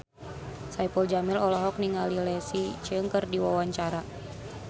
Saipul Jamil olohok ningali Leslie Cheung keur diwawancara